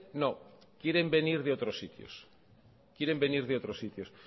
no quieren venir de otros sitios quieren venir de otros sitios